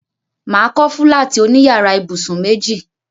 Mà á kọ́ fúláàtì oní yàrá ibùsùn méjì.